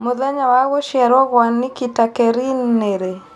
mũthenya wa gũcĩarwo gwa Nikita Kering nĩ rĩ